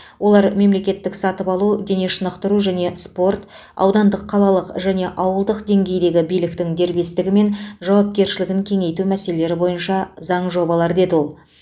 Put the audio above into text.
олар мемлекеттік сатып алу дене шынықтыру және спорт аудандық қалалық және ауылдық деңгейдегі биліктің дербестігі мен жауапкершілігін кеңейту мәселелері бойынша заң жобалар деді ол